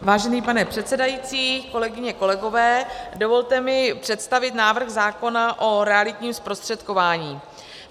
Vážený pane předsedající, kolegyně, kolegové, dovolte mi představit návrh zákona o realitním zprostředkování.